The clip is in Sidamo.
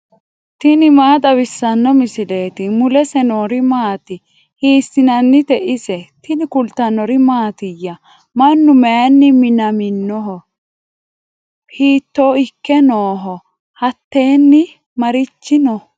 tini maa xawissanno misileeti ? mulese noori maati ? hiissinannite ise ? tini kultannori mattiya? Mannu mayiinni minamminno? Hiitto ikke nooho? Hattenni marichi noo?